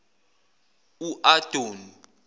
uadoni